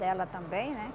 Dela também, né?